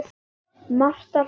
Marta hló.